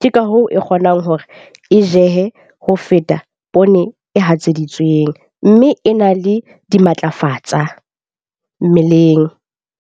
Ke ka hoo e kgonang hore e jehe ho feta poone e hatseditsweng. Mme e na le dimatlafatsa mmeleng.